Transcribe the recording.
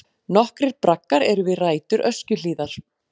Nokkrir braggar eru við rætur Öskjuhlíðar.